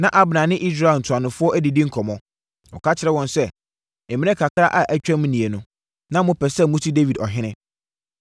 Na Abner ne Israel ntuanofoɔ adidi nkɔmmɔ. Ɔka kyerɛɛ wɔn sɛ, “Mmerɛ kakra a atwam nie no, na mopɛ sɛ mosi Dawid ɔhene.